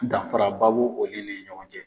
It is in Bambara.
Danfaraba b'o ni ɲɔgɔn cɛ.